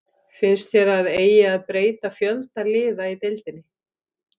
Finnst þér að eigi að breyta fjölda liða í deildinni?